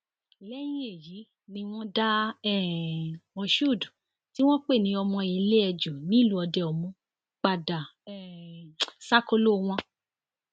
lẹyìn èyí ni wọn dá um moshood tí wọn pè ní ọmọ iléẹjú nílùú òdeomu padà um sákòlò wọn